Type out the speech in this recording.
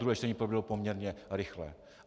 Druhé čtení proběhlo poměrně rychle.